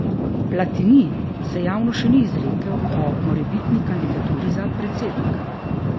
Platini se javno še ni izrekel o morebitni kandidaturi za predsednika.